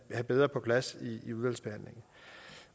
have bedre på plads i udvalgsbehandlingen